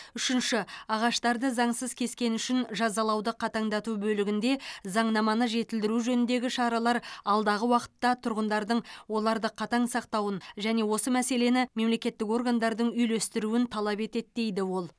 үшінші ағаштарды заңсыз кескені үшін жазалауды қатаңдату бөлігінде заңнаманы жетілдіру жөніндегі шаралар алдағы уақытта тұрғындардың оларды қатаң сақтауын және осы мәселені мемлекеттік органдардың үйлестіруін талап етеді дейді ол